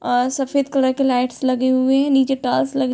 और सफ़ेद कलर के लाइट्स लगे हुए हैं। नीचे टाइल्स लगे --